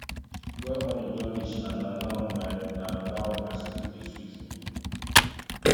why morning don reach and na now my na now my sleep dey sweet me